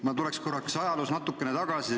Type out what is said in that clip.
Ma lähen korraks ajaloos natukene tagasi.